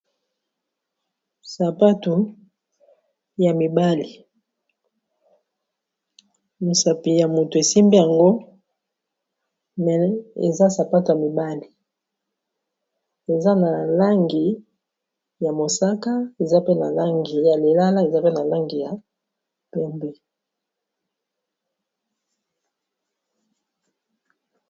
sapato ya mibali misapi ya moto esimbi yango me eza sapato ya mibali eza na langi ya mosaka eza pe na langi ya lilala eza pe na langi ya pembe